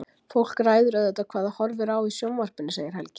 Fólk ræður auðvitað hvað það horfir á í sjónvarpinu, segir Helgi.